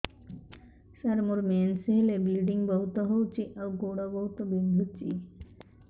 ସାର ମୋର ମେନ୍ସେସ ହେଲେ ବ୍ଲିଡ଼ିଙ୍ଗ ବହୁତ ହଉଚି ଆଉ ଗୋଡ ବହୁତ ବିନ୍ଧୁଚି